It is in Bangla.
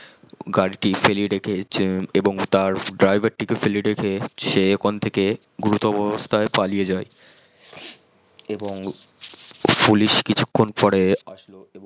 গারিটি ফেলে রেখে এবং তার driver টিকেও ফেলে রেখে সে ওখান থেকে গুরুতর অবস্থাই পালিয়ে যাই এবং পুলিশ কিছুখন পরে আসলো